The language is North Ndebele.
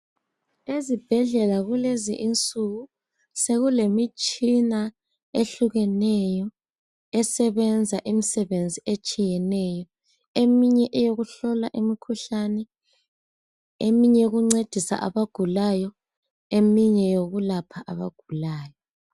Ezibhedlela kulezi insuku sekulemitshina ehlukeneyo esebenza imisebenzi etshiyeneyo. Eminye ngeyokuhlola imikhuhlane, ukuncedisa abagulayo lokulapha abagulayo.